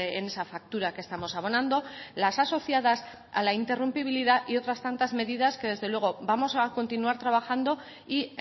en esa factura que estamos abonando las asociadas a la interrumpibilidad y otras tantas medidas que desde luego vamos a continuar trabajando y